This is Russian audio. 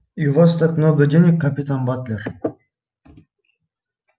и у вас так много денег капитан батлер